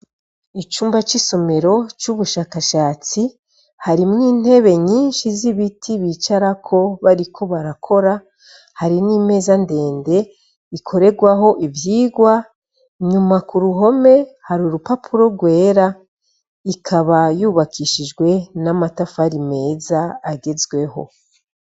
Icumba c’isomero c’ubushakashatsi harimw’intebe nyinshi z’ibiti bicarako bariko barakora, hari n’imeza ndende ikoregwaho ivyigwa , nyuma kuruhome har’urupapuro gwera, ikaba yubakishijwe n’amatafari meza agezweho.